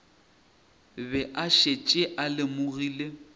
be a šetše a lemogile